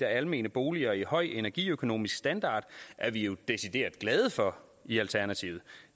almene boliger i høj energiøkonomisk standard er vi jo decideret glade for i alternativet